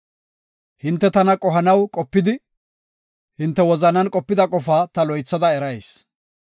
“Hinte tana qohanaw qopidi, hinte wozanan qopida qofaa ta loythada erayis.